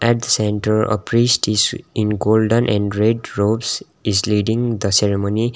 at the center a priest is in golden and red ropes is leading the ceremony.